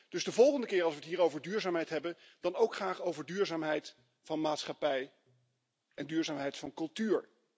Dus de volgende keer als we het hier over duurzaamheid hebben, dan ook graag over duurzaamheid van maatschappij en duurzaamheid van cultuur.